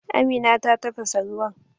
Amina ta tafasa ruwan.